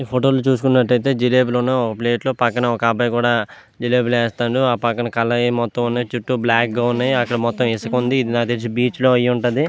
Photo లో చుస్కునట్లైతే జిలేబి లని ఒక ప్లేట్ లో ఒక అబ్బాయి కూడా జిలేబి వేస్తున్నాడు ఆ పక్కన చుటూ బ్లాక్ గ ఉన్నాయి అక్కడ మొత్తం ఇసక ఉంది. ఇది నాకు తెలిసి బీచ్ లో అయ్యి ఉంటది.